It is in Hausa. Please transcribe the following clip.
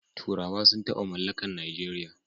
Turawa sun taba mallakan Najeriya